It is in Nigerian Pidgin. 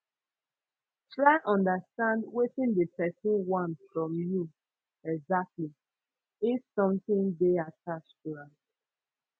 try understand wetin de persin want from you exactly if sometin de attach to am